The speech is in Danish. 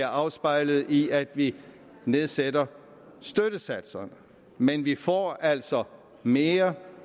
afspejler sig i at vi nedsætter støttesatserne men vi får altså mere